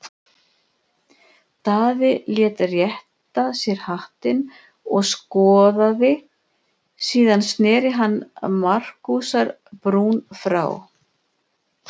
Daði lét rétta sér hattinn og skoðaði, síðan sneri hann Markúsar-Brún frá.